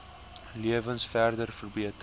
lewens verder verbeter